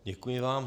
Děkuji vám.